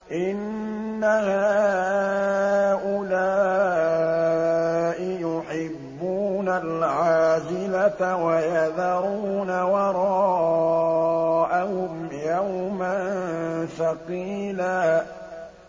إِنَّ هَٰؤُلَاءِ يُحِبُّونَ الْعَاجِلَةَ وَيَذَرُونَ وَرَاءَهُمْ يَوْمًا ثَقِيلًا